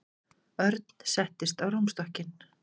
Örn settist á rúmstokkinn.